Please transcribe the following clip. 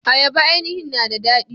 Ayaba ainihin na da daɗi.